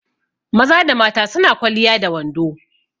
Maza da mata su na kwaliya da wando.